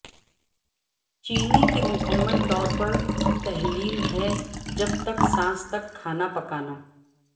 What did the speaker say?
چینی کی مکمل طور پر تحلیل ہے جب تک ساس تک کھانا پکانا